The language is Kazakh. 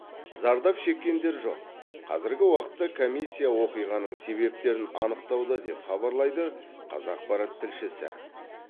зардап шеккендер жоқ казіргі уақытта комиссия оқиғаның себептерін анықтауда деп хабарлайды қазақпарат тілшісі